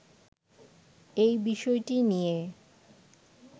এই বিষয়টি নিয়ে